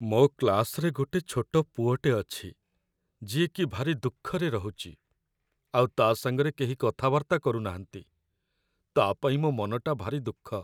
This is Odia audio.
ମୋ କ୍ଲାସ୍‌ରେ ଗୋଟେ ଛୋଟ ପୁଅଟେ ଅଛି ଯିଏକି ଭାରି ଦୁଃଖରେ ରହୁଚି ଆଉ ତା' ସାଙ୍ଗରେ କେହି କଥାବାର୍ତ୍ତା କରୁନାହାନ୍ତି । ତା' ପାଇଁ ମୋ ମନଟା ଭାରି ଦୁଃଖ ।